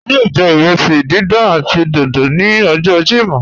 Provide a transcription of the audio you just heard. A yọọ jẹ irẹsí dídán àti dódó ni ọjọ Jímọ́.